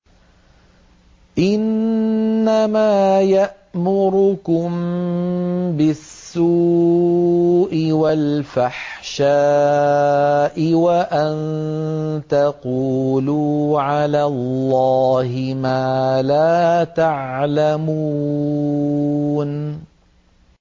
إِنَّمَا يَأْمُرُكُم بِالسُّوءِ وَالْفَحْشَاءِ وَأَن تَقُولُوا عَلَى اللَّهِ مَا لَا تَعْلَمُونَ